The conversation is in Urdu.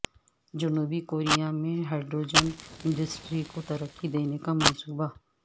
جنوبی کوریا میں ہائیڈروجن انڈسٹری کو ترقی دینے کا منصوبہ